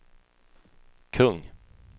kung